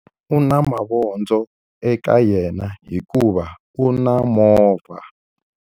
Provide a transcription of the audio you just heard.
U na mavondzo eka yena hikuva u na movha.